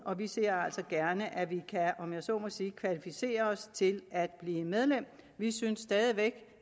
og vi ser altså gerne at vi kan om jeg så må sige kvalificere os til at blive medlem vi synes stadig væk